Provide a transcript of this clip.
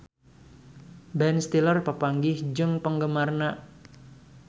Ben Stiller papanggih jeung penggemarna